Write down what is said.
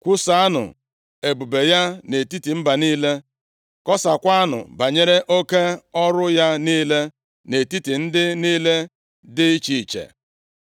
Kwusaanụ ebube ya nʼetiti mba niile, kọsakwanụ banyere oke ọrụ ya niile nʼetiti ndị niile dị iche iche.